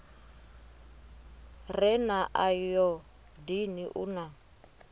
re na ayodini u na